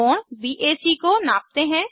कोण बैक को नापते हैं